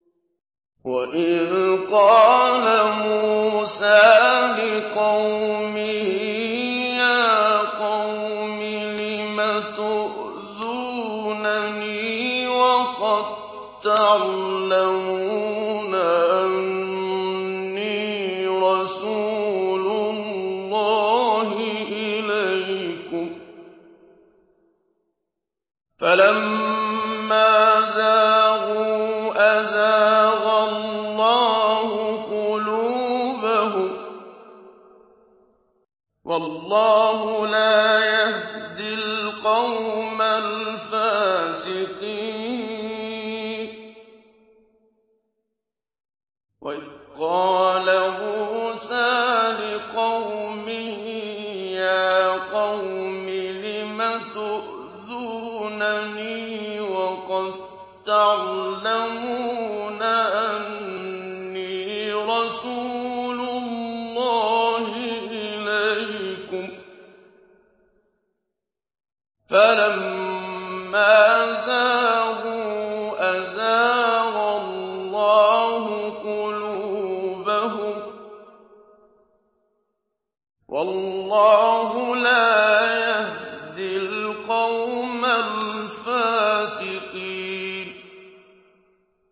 وَإِذْ قَالَ مُوسَىٰ لِقَوْمِهِ يَا قَوْمِ لِمَ تُؤْذُونَنِي وَقَد تَّعْلَمُونَ أَنِّي رَسُولُ اللَّهِ إِلَيْكُمْ ۖ فَلَمَّا زَاغُوا أَزَاغَ اللَّهُ قُلُوبَهُمْ ۚ وَاللَّهُ لَا يَهْدِي الْقَوْمَ الْفَاسِقِينَ